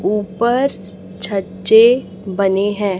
ऊपर छज्जे बने हैं।